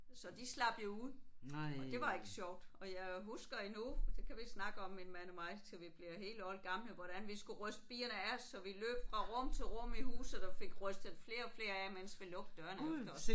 Så de slap jo ud og det var ikke sjovt. Og jeg husker endnu det kan vi snakke om min mand og mig til vi bliver helt oldgamle hvordan vi skulle ryste bierne af os så vi løb fra rum til rum i huset og fik rystet flere og flere af mens vi lukkede dørene efter os